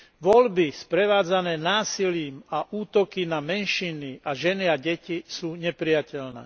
Voľby sprevádzané násilím a útoky na menšiny a ženy a deti, sú neprijateľné.